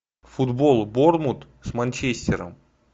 футбол борнмут с манчестером